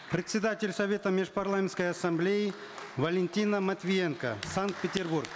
председатель совета межпарламентской ассамблеи валентина матвиенко санкт петербург